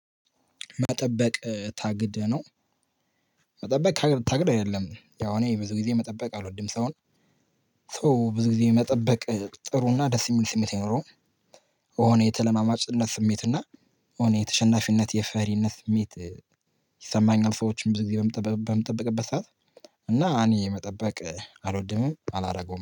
መጠበቅ ታግደህ ነው መጠበቅ ከታገስክ? ታግደህ አይደለም፤ ያው እኔ ብዙ ጊዜ መጠበቅ አልወድም ሰውን። ሰው ብዙ ጊዜ መጠበቅ ጥሩና ደስ የሚል ስሜት የለውም፤ የሆነ የተለማማጭነት ስሜት እና የሆነ የተሸናፊነት፣ የፈሪነት ስሜት ይሰማኛል ሰዎችን ብዙ ጊዜ በምጠብቅበት ሰዓት። እና እኔ መጠበቅ አልወድም፤ አላደርገውም።